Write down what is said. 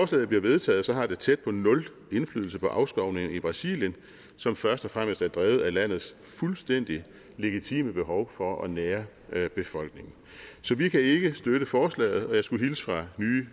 skulle blive vedtaget har det tæt på nul indflydelse på afskovning i brasilien som først og fremmest er drevet af landets fuldstændig legitime behov for at nære befolkningen så vi kan ikke støtte forslaget og jeg skulle hilse fra nye